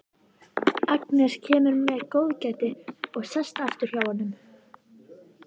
Agnes kemur með góðgætið og sest aftur hjá honum.